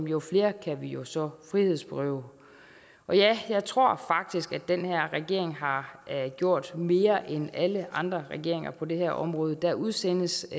jo flere kan vi jo så frihedsberøve og ja jeg tror faktisk at den her regering har gjort mere end alle andre regeringer på det her område der udsendes